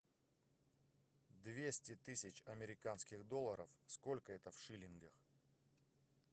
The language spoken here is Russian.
двести тысяч американских долларов сколько это в шиллингах